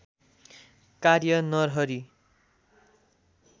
कार्य नरहरि